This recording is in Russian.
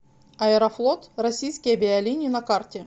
аэрофлот российские авиалинии на карте